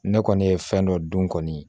Ne kɔni ye fɛn dɔ dun kɔni